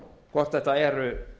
hvort þetta eru